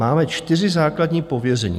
Máme čtyři základní pověření."